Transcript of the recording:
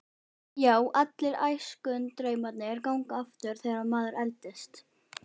Já, allir æskudraumarnir ganga aftur þegar maður eldist.